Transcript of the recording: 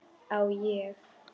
Á ég.?